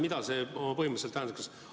Mida see põhimõtteliselt tähendab?